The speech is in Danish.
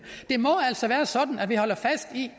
det må altså være sådan at vi holder fast i